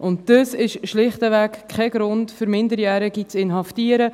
Und das ist schlichtweg kein Grund, um Minderjährige zu inhaftieren.